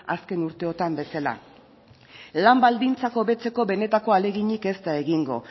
azken urteetan bezala lan baldintzak hobetzeko benetako ahaleginik ez da egingo